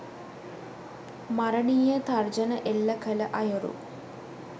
මරණීය තර්ජන එල්ල කළ අයුරු